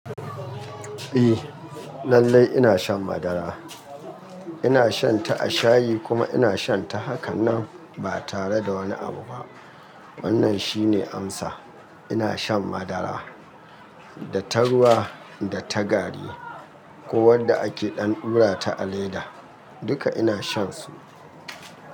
Eh lallai ina shan madara, ina shan ta a shayi kuma ina shan ta hakanan, ba tare da wani abu ba. Wannan shine amsa. Ina shan madara, da ta ruwa, da ta gari, ko wadda ake ɗan ɗura ta a leda. Duka ina shan su.